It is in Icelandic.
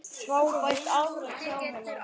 Frábært afrek hjá henni.